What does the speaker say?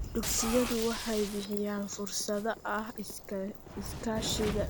Dugsiyadu waxay bixiyaan fursadaha iskaashiga iyo ka-qaybgalka qabaa'ilka dhexdooda.